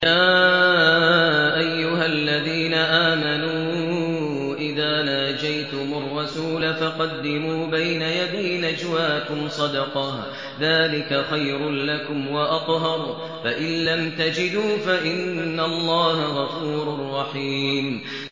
يَا أَيُّهَا الَّذِينَ آمَنُوا إِذَا نَاجَيْتُمُ الرَّسُولَ فَقَدِّمُوا بَيْنَ يَدَيْ نَجْوَاكُمْ صَدَقَةً ۚ ذَٰلِكَ خَيْرٌ لَّكُمْ وَأَطْهَرُ ۚ فَإِن لَّمْ تَجِدُوا فَإِنَّ اللَّهَ غَفُورٌ رَّحِيمٌ